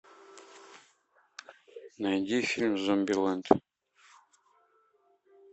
найди фильм зомбилэнд